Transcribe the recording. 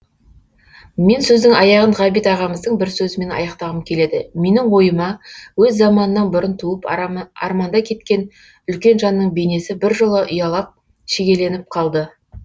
мен сөздің аяғын ғабит ағамыздың бір сөзімен аяқтағым келеді менің ойыма өз заманынан бұрын туып арманда кеткен үлкен жанның бейнесі біржола ұялап шегеленіп қалды